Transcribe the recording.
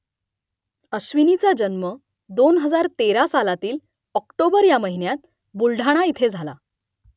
अश्विनीचा जन्म दोन हजार तेरा सालातील ऑक्टोबर ह्या महिन्यात बुलढाणा इथे झाला